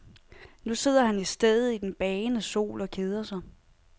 Nu sidder han i stedet i den bagende sol og keder sig.